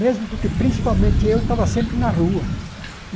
Mesmo porque, principalmente, eu estava sempre na rua.